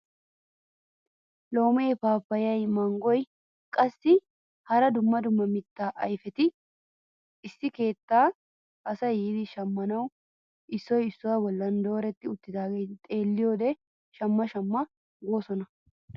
Loomee, paappayay, manggoyinne qassi hara dumma dumma mittaa ayfeti issi keettan asay yiidi shammanawu issoy issuwaa bolli dooretti uttidaageta xelliyode shamma shamma goosona.